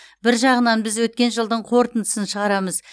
бір жағынан біз өткен жылдың қорытындысын шығарамыз